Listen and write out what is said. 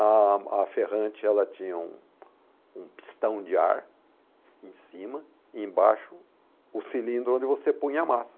A a ferrante, ela tinha um um pistão de ar em cima e embaixo o cilindro onde você punha a massa.